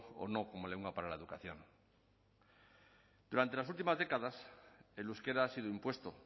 o no como lengua para la educación durante las últimas décadas el euskera ha sido impuesto